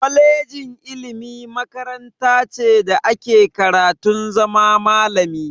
Kolejin ilimi makaranta ce da ake karatun zama malami.